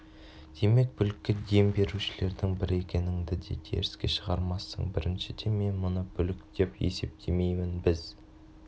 демек бүлікке дем берушілердің бірі екеніңді де теріске шығармассың біріншіден мен мұны бүлік деп есептемеймін біз